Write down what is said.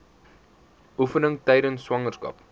oefeninge tydens swangerskap